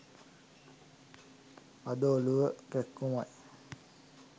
අද ඔලුව කැක්කුමයි